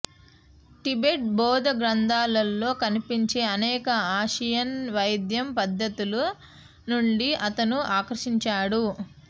Tibet బౌద్ధ గ్రంథాలలో కనిపించే అనేక ఆసియన్ వైద్యం పద్ధతుల నుండి అతను ఆకర్షించాడు